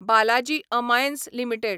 Balaji Amines limited